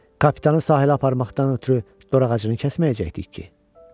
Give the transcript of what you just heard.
Kapitanı sahilə aparmaqdan ötrü dorağacını kəsməyəcəkdik ki.